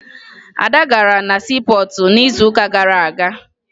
Ada gara na siipọọtụ n'izuụka gara aga